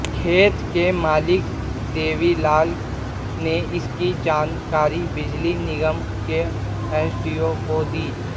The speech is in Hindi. खेत के मालिक देवीलाल ने इसकी जानकारी बिजली निगम के एसडीओ को दी